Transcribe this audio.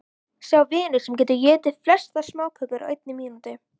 Sá vinnur sem getur étið flestar smákökur á einni mínútu.